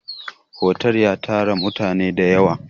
Otal ya tattara mutane ne da yawa